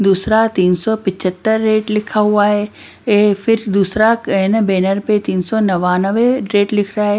दूसरा तीन सौ पचहत्तर रेट लिखा हुआ है फिर दूसरा बैनर पे तीन सौ नवानवे रेट लिख रहा है।